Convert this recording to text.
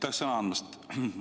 Aitäh sõna andmast!